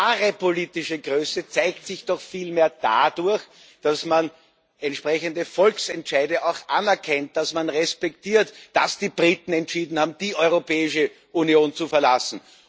Wahre politische Größe zeigt sich doch vielmehr dadurch, dass man entsprechende Volksentscheide auch anerkennt, dass man respektiert, dass die Briten entschieden haben, die Europäische Union zu verlassen.